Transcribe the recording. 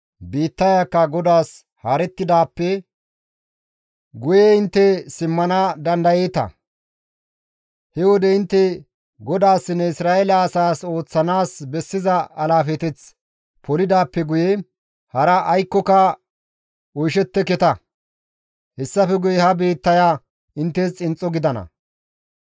biittayakka GODAAS haarettidaappe guye intte simmana dandayeeta; he wode intte GODAASSINNE Isra7eele asaas ooththanaas bessiza alaafeteth polidaappe guye hara aykkoka oyshetteketa; hessafe guye ha biittaya inttes xinxxo gidana.